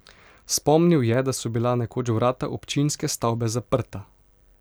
Spomnil je, da so bila nekoč vrata občinske stavbe zaprta.